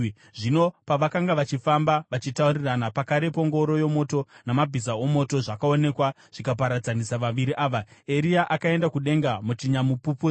Zvino pavakanga vachifamba, vachitaurirana, pakarepo ngoro yomoto namabhiza omoto zvakaonekwa zvikaparadzanisa vaviri ava, Eria akaenda kudenga muchinyamupupuri.